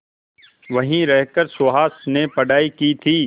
वहीं रहकर सुहास ने पढ़ाई की थी